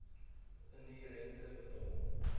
indien rente betaal